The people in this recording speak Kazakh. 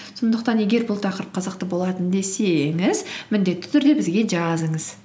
сондықтан егер бұл тақырып қызықты болатын десеңіз міндетті түрде бізге жазыңыз